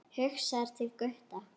Hugsar til Gutta.